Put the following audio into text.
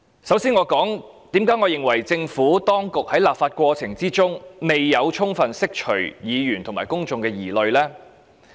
首先，我想說說，為何我認為政府當局在立法過程中未有充分釋除議員和公眾的疑慮呢？